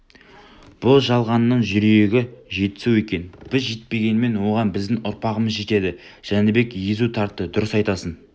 бұ жалғанның жерүйегі жетісу екен біз жетпегенмен оған біздің ұрпағымыз жетеді жәнібек езу тартты дұрыс айтасың